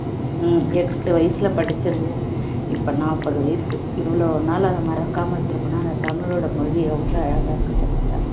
எட்டு வயசுல படிச்சது இப்போ நாப்பது வயசு இவ்வளவு நாளா அதை மறக்காமல வச்சி இருக்கேன்னா தமிழோடு மொழியை எவ்வளவு அழகா இருக்கு பாத்தியா